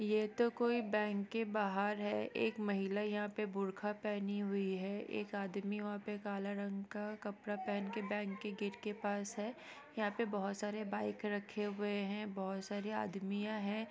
ये तो कोई बैंक के बाहर है एक महिला यहाँ पे बुरखा पहनी हुई है एक आदमी वहाँ पे काला रंग का कपड़ा पहन के बैंक के गेट के पास है यहाँ पे बहुत सारे बाइक राखी हुए है बहुत सारी आदमियाँ हैं।